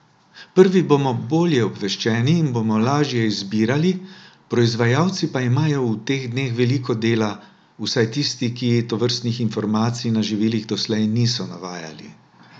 Prvi bomo bolje obveščeni in bomo lažje izbirali, proizvajalci pa imajo v teh dneh veliko dela, vsaj tisti, ki tovrstnih informacij na živilih doslej niso navajali.